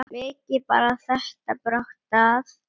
Mikið bar þetta brátt að.